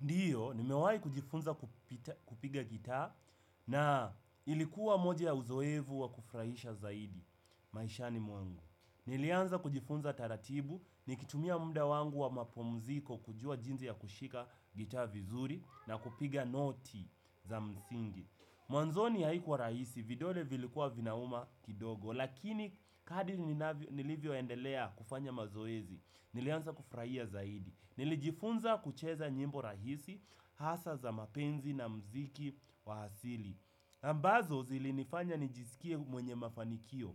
Ndiyo, nimewai kujifunza kupiga gitaa na ilikuwa moja ya uzoevu wa kufurahisha zaidi, maishani mwangu. Nilianza kujifunza taratibu, nikitumia muda wangu wa mapumziko kujua jinsi ya kushika gitaa vizuri na kupiga noti za msingi. Mwanzoni haikuwa raisi, vidole vilikuwa vinauma kidogo, lakini kadri nilivyoendelea kufanya mazoezi, nilianza kufuraia zaidi. Nilijifunza kucheza nyimbo rahisi hasa za mapenzi na mziki wa hasili ambazo zilinifanya nijisikie mwenye mafanikio.